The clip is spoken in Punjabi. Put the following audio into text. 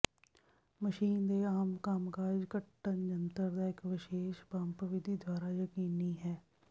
ਮਸ਼ੀਨ ਦੇ ਆਮ ਕੰਮਕਾਜ ਕੱਟਣ ਜੰਤਰ ਦਾ ਇੱਕ ਵਿਸ਼ੇਸ਼ ਪੰਪ ਵਿਧੀ ਦੁਆਰਾ ਯਕੀਨੀ ਹੈ